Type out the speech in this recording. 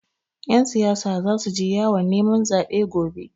Ƴan siyasa zasu je yawon neman zaɓe gobe.